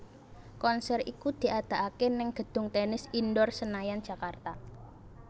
Konser iku diadakaké ning gedung Tennis Indoor Senayan Jakarta